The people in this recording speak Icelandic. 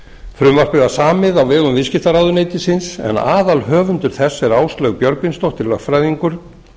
frumvarpið var samið á vegum viðskiptaráðuneytisins en aðalhöfundur þess er áslaug björgvinsdóttir lögfræðingur